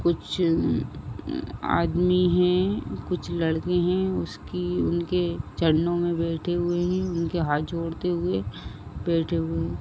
कुछ अ अ आदमी हैं कुछ लड़के हैं उसकी उनके चरणों में बैठे हुए हैं उनके हाथ जोड़ते हुए बैठे हुए हैं।